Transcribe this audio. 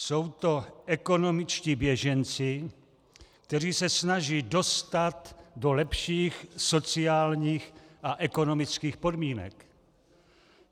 Jsou to ekonomičtí běženci, kteří se snaží dostat do lepších sociálních a ekonomických podmínek.